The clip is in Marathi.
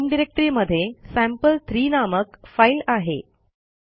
आपल्या होम डिरेक्टरीमध्ये सॅम्पल3 नामक फाईल आहे